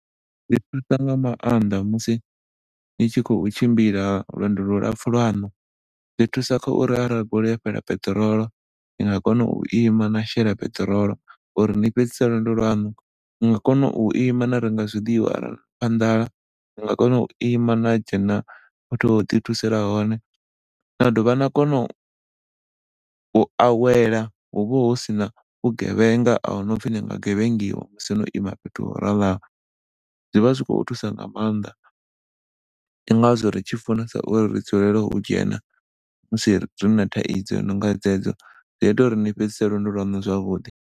Zwi thusa nga maanḓa musi dzi tshi khou tshimbila lwendo lu lapfu lwaṋu zwi thusa kha uri ara goloi yo fhela peṱirolo ni nga kona u ima na shela peṱirolo uri ni fhedzise lwendo lwaṋu ni nga kona u ima na renga zwiḽiwa ara na pfa nḓala, ni nga kona uri ima na dzhena fhethu ho ḓi thusela hone na dovha na kono u awela hu vha hu sina vhugevhenga ahuna upfi ni nga gevhengiwa musi no ima fhethu ho raloho. Zwi vha zwi khou thusa nga maanḓa ndi ngazwo ri tshi funesa uri ri dzulele u dzhena musi rina thaidzo i no nga dzedzo zwi ita uri ni fhedzise lwendo lwaṋu zwavhuḓi.